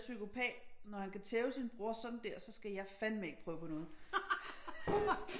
Der psykopat når han kan tæve sin bror sådan der så skal fandme ikke prøve på noget